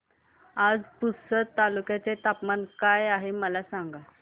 आज पुसद तालुक्यात तापमान काय आहे मला सांगा